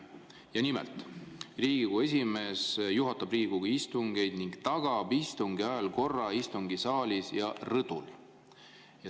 Ja nimelt, Riigikogu esimees juhatab Riigikogu istungeid ning tagab istungi ajal korra istungisaalis ja rõdudel.